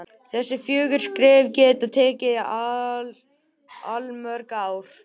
Þessi fjögur skref geta tekið allmörg ár.